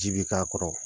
Ji bi k'a kɔrɔ